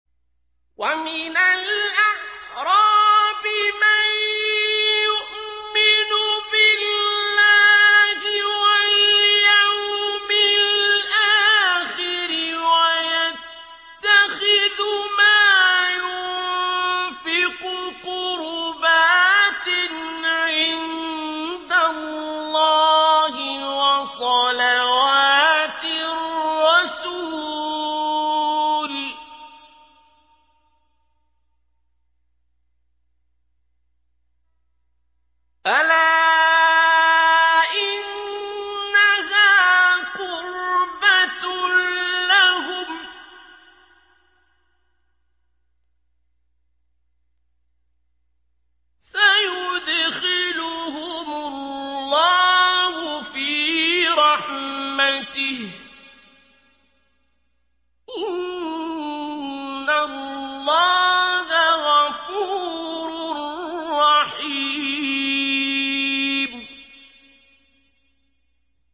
وَمِنَ الْأَعْرَابِ مَن يُؤْمِنُ بِاللَّهِ وَالْيَوْمِ الْآخِرِ وَيَتَّخِذُ مَا يُنفِقُ قُرُبَاتٍ عِندَ اللَّهِ وَصَلَوَاتِ الرَّسُولِ ۚ أَلَا إِنَّهَا قُرْبَةٌ لَّهُمْ ۚ سَيُدْخِلُهُمُ اللَّهُ فِي رَحْمَتِهِ ۗ إِنَّ اللَّهَ غَفُورٌ رَّحِيمٌ